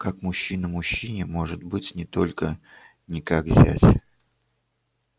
как мужчина мужчине может быть не только не как зять